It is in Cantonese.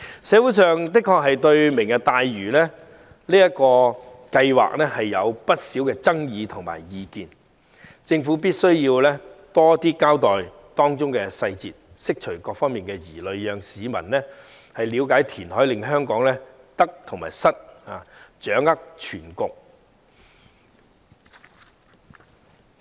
社會對"明日大嶼"計劃確實有不少爭議和意見，政府必須多交代當中細節，釋除各方疑慮，讓市民了解填海為香港帶來的得與失，掌握全局。